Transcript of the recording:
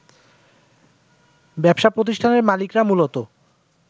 ব্যবসা প্রতিষ্ঠানের মালিকরা মূলত